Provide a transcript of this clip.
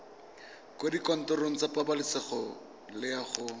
kwa dikantorong tsa pabalesego loago